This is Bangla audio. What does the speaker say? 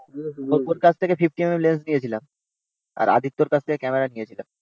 ওর কাছে থেকে fifty এমএম লেন্স নিয়েছিলাম। আর আদিত্যর কাছ থেকে ক্যামেরা নিয়েছিলাম